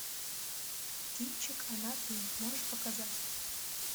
кинчик она ты можешь показать